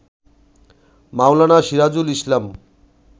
মাওলানা Sirajul ইসলাম